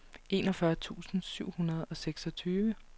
enogfyrre tusind syv hundrede og seksogtyve